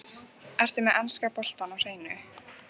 Ertu með enska boltann á hreinu?